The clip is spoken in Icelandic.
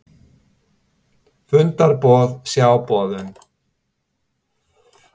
Fundarboð, sjá boðun